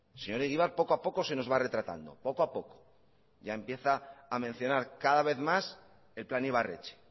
señor egibar poco a poco se nos va retratando poco a poco ya empieza a mencionar cada vez más el plan ibarretxe